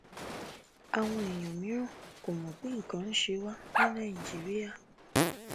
àwọn èèyàn mìíràn kò mọ pé nǹkan ń ṣe wá ní nàìjíríà